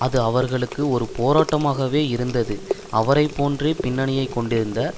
அது அவர்களுக்கு ஒரு போராட்டமாகவே இருந்தது அவரை போன்ற பின்னணியைக் கொண்டிருந்த